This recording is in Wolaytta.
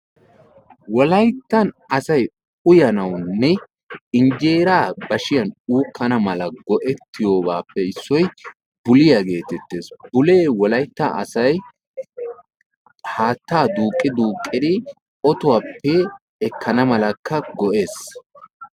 Wolayttan asay uyanawunne hinjeeraa bashiyan tiganawu go'ettiyobatuppe issoy buliya geetettes. Bulee haattaa ottuwappe ekkana malakka go'ees.